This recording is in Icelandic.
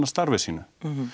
starfi sínu